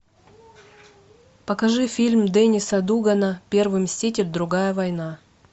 покажи фильм дениса дугана первый мститель другая война